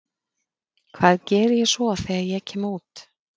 Hvað geri ég svo þegar ég kem út?